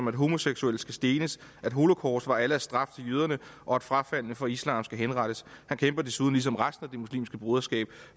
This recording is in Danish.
at homoseksuelle skal stenes at holocaust var allahs straf til jøderne og at frafaldne fra islam skal henrettes han kæmper desuden ligesom resten af det muslimske broderskab